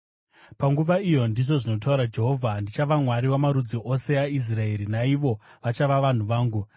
“Panguva iyo,” ndizvo zvinotaura Jehovha, “ndichava Mwari wamarudzi ose aIsraeri, naivo vachava vanhu vangu.”